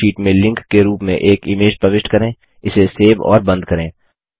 Calc sheet में link के रूप में एक इमेज प्रविष्ट करें इसे सेव और बंद करें